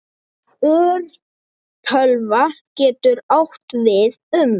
Örtölva getur átt við um